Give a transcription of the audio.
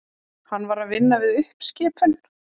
Hann var að vinna við uppskipun.